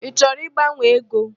Ị chọrọ ịgbanwe ego?